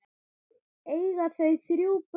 Eiga þau þrjú börn.